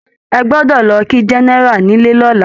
Ẹ gbọ́dọ̀ lọ kí Gẹ́nẹ́rà nílé lọ́la!